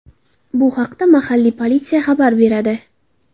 Bu haqda mahalliy politsiya xabar beradi .